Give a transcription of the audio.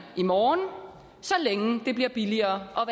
i morgen så længe det bliver billigere at